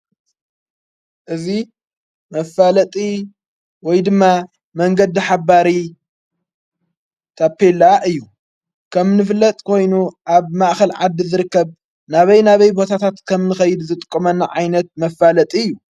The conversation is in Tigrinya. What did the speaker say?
እዙ መፋለጢ ወይ ድማ መንገዲ ሓባሪ ታፔላ እዩ ከም ዝፍለጥ ኮይኑ ኣብ ማእኸል ዓዲ ዘርከብ ናበይ ናበይ ቦታታት ከም ንኸይድ ዝጥቁመና ዓይነት መፋለጥ እዩ።